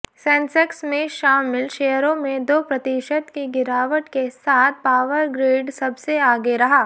Sensex में शामिल शेयरों में दो प्रतिशत की गिरावट के साथ पावरग्रिड सबसे आगे रहा